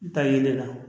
N ta yelen na